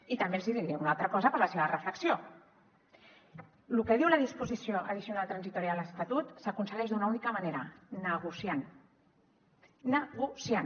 i també els he de dir una altra cosa per a la seva reflexió lo que diu la disposició addicional tercera de l’estatut s’aconsegueix d’una única manera negociant negociant